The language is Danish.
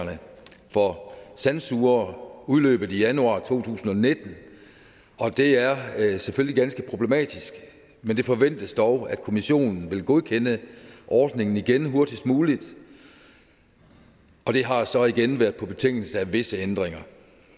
for sandsugere udløbet i januar to tusind og nitten og det er er selvfølgelig ganske problematisk men det forventes dog at kommissionen vil godkende ordningen igen hurtigst muligt og det har så igen været på betingelse af visse ændringer